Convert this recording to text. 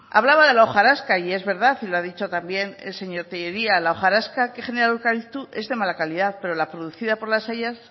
hablaba de la hojarasca y es verdad y lo ha dicho también el señor tellería la hojarasca que genera el eucalipto es de mala calidad pero la producida por las hayas